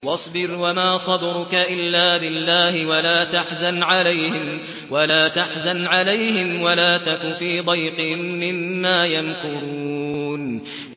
وَاصْبِرْ وَمَا صَبْرُكَ إِلَّا بِاللَّهِ ۚ وَلَا تَحْزَنْ عَلَيْهِمْ وَلَا تَكُ فِي ضَيْقٍ مِّمَّا يَمْكُرُونَ